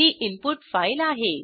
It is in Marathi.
ही इनपुट फाईल आहे